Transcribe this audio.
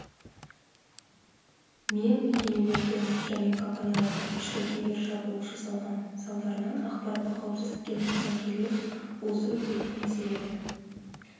мен мекемелердің және компаниялардың ішкі кибершабуыл жасалған салдарынан ақпараттық қауіпсіздікке нұқсан келген осы өзекті мәселені